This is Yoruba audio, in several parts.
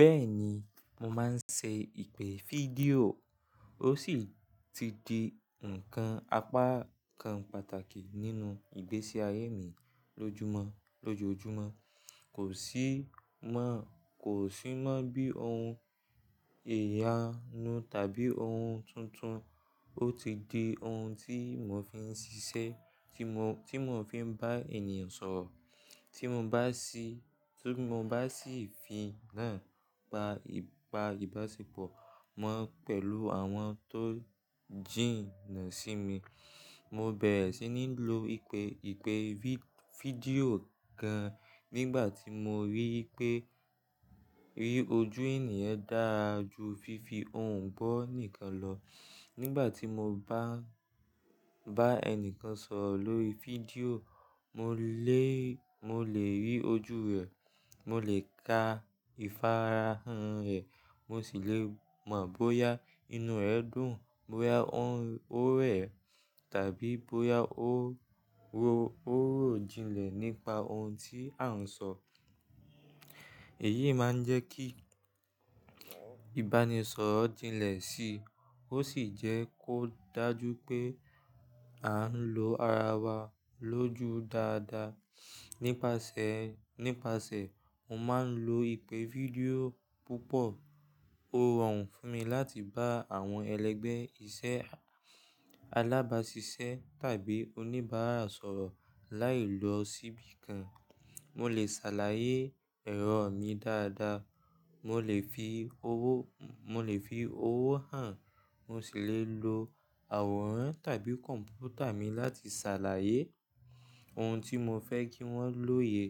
Bẹ́ẹ̀ni, mo máa ń ṣe ìpè fídíò, ó sì ti di ǹkan apákan pàtàkì nínú ìgbésí ayé mi Lójúmọ́ lójoojúmọ́ kosi. Kò sí mọ́ bí ohun ìyanu tàbí ohun tuntun, ó ti di ohun tí iwo fi ń ṣiṣẹ́, tí mo fi ń bá ènìyàn sọ̀rọ̀. Tí mo bá sì, tí mo bá sì fi náà gba ìbáṣepọ̀ mọ́ pẹ̀lú àwọn tó jìnà sí mi. Mo bẹ̀rẹ̀ sí ní lo ìpè fídíò gan nígbà tí mo rí pé rí ojú ènìyàn dáa ju fífi òǹgbọ̀ nìkan lọ. Nígbà tí mo bá ń bá ẹni kan sọ̀rọ̀ lórí fídíò mo le. Mo lè rí ojú rẹ̀, mo lè ka ìfarahàn rẹ̀, mo sì lè mọ̀ bóyá inú rẹ̀ dùn, bóyá ó rẹ̀ tàbí bóyá ó ròjinlẹ̀ nípa ohun tí a ń sọ. Èyí máa ń jẹ́ kí ìbánisọ̀rọ̀ jinlẹ̀ sí i, ó sì jẹ́ kó dájú pé a ń lo ara wa lójú dáadáa. Nípasẹ̀ ó máa ń lo ìpè fídíò púpọ̀, ó rọrùn fún mi láti bá àwọn ẹlẹgbẹ́ iṣẹ́ alábáṣiṣẹ́ tàbí oníbàárà sọ̀rọ̀ láì lọ síbi kan. Mo lè ṣàlàyé ẹ̀rọ mi dáadáa, mo lè fi owó, mo lè fi owó hàn, mo sì lè lo àwòrán tàbí kọ̀m̀pútà mi láti ṣàlàyé ohun tí mo fẹ́ kí wọ́n lòye.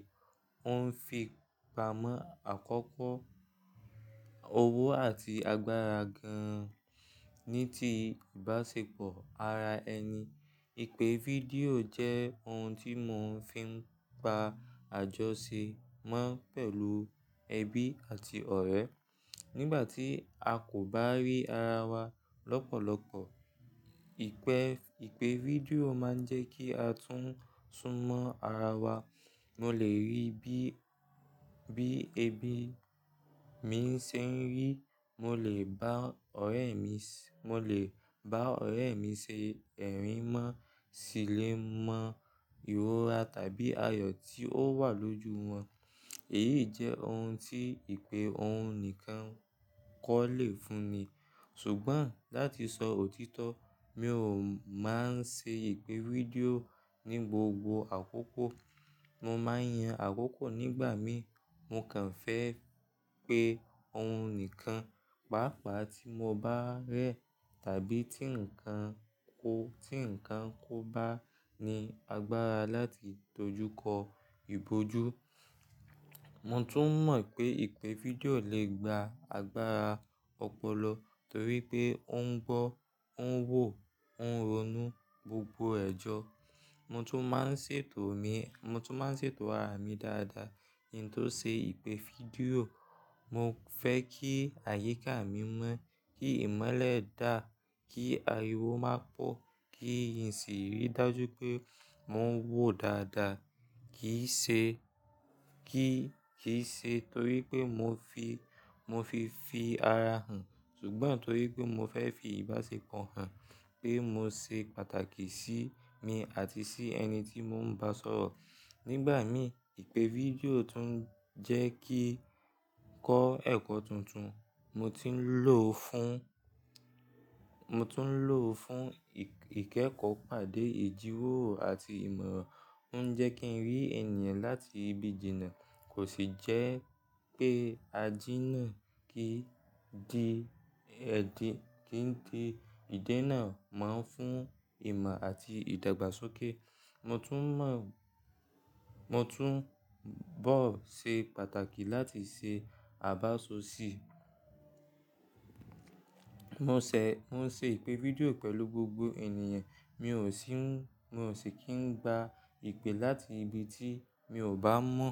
Ó ń fi pamọ́ àkókò, owó àti agbára gan-an. Ní ti ìbáṣepọ̀ ara ẹni, ìpè fídíò jẹ́ ohun tí mo fi ń pa àjọṣe mọ́ pẹ̀lú ẹbí àti ọ̀rẹ́. Nígbà tí a kò bá rí ara wa lọ́pọ̀lọpọ̀, ìpe ìpè fídíò máa ń jẹ́ kí a tún mọ́ ara wa. Mo lè rí bí ẹbí mi ṣe ń rí, mo lè bá ọ̀rẹ́ mi ṣe ẹ̀rí mọ́, sì lè mọ ìrora tàbí àyọ̀ tí ó wà lójú wọn. Èyí jẹ́ ohun tí ìpè ohùn nìkan kò lè fúnni. Ṣùgbọ́n láti sọ òtítọ́, mi ò máa ń ṣe ìpè fídíò ní gbogbo àkókò. Mo máa ń yan àkókò nígbà mí, mo kàn fẹ́ pé ohun nìkan, pàápàá tí mo bá rẹ̀ tàbí tí nǹkan o, ti nǹkan kò bá ní agbára láti dojúkọ ìbójú. Mo tún mọ̀ pé ìpè fídíò lè gba agbára ọ̀pọ̀lọ́ torí pé ó ń gbọ́, ó ń wò, ó ń ronú gbogbo ẹ̀jọ̀. Mo tún máa ń ṣètò mi, mo tún máa ń ṣètò àrámi dáadáa kín tó ṣe ìpè fídíò. Mo fẹ́ kí àyíká mi mọ́, kí ìmọ́lẹ̀ dà, kí ariwo máa pọ̀, kí ìsìrí dájú pé mò ń wò dáadáa kì í ṣe torí pé mo fi, mo fi fi ara hàn, ṣùgbọ́n torí pé mo fẹ́ fi ìbáṣepọ̀ hàn pé mo ṣe pàtàkì sí mi àti sí ẹni tí mò ń bá sọ̀rọ̀. Nígbà mí, ìpè fídíò tún ń jẹ́ kí kọ́ ẹ̀kọ́ tuntun. Mo ti ń lò fún ó fún ìkẹ́kọ̀ọ́ pàdé ìdíwòòrò àti ìmọ̀ràn. Ó ń jẹ́ kí n rí ènìyàn láti ibi ìjìnnà, kò sì jẹ́ pé a jína kí kí di ìdí náà máa ń fún ìmọ̀ àti ìdàgbàsókè. Mo tún mọ̀, mo tún bó ṣe pàtàkì láti ṣe àbáso sí i. Mo ṣe ìpè fídíò pẹ̀lú gbogbo ènìyàn, mi o sin mò sì kí ń gba ìpè láti ibi tí mi ò bá mọ̀.